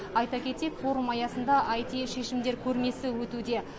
айта кетейік форум аясында аити шешімдер көрмесі өтуде